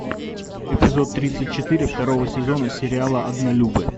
эпизод тридцать четыре второго сезона сериала однолюбы